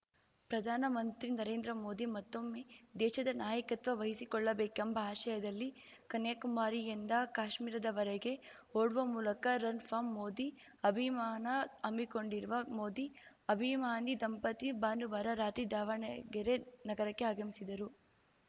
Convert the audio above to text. ಪ್ರಧಾನ ಮಂತ್ರಿ ನರೇಂದ್ರ ಮೋದಿ ಮತ್ತೊಮ್ಮೆ ದೇಶದ ನಾಯಕತ್ವ ವಹಿಸಿಕೊಳ್ಳಬೇಕೆಂಬ ಆಶಯದಲ್ಲಿ ಕನ್ಯಾಕುಮಾರಿಯಿಂದ ಕಾಶ್ಮೀರದವರೆಗೆ ಓಡುವ ಮೂಲಕ ರನ್‌ ಫಾರ್‌ ಮೋದಿ ಅಭಿಮಾನ ಹಮ್ಮಿಕೊಂಡಿರುವ ಮೋದಿ ಅಭಿಮಾನಿ ದಂಪತಿ ಭಾನುವಾರ ರಾತ್ರಿ ದಾವಣಗೆರೆ ನಗರಕ್ಕೆ ಆಗಮಿಸಿದರು